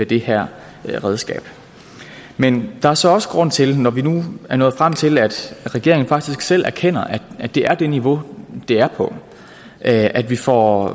det her redskab men der er så også grund til når vi nu er nået frem til at regeringen faktisk selv erkender at det er det her niveau det er på at vi får